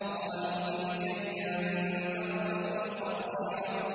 قَالُوا تِلْكَ إِذًا كَرَّةٌ خَاسِرَةٌ